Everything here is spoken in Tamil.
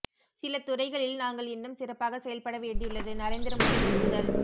சில துறைகளில் நாங்கள் இன்னும் சிறப்பாக செயல்பட வேண்டியுள்ளது நரேந்திர மோடி ஒப்புதல்